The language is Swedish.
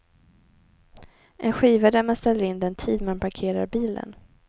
En skiva där man ställer in den tid man parkerar bilen.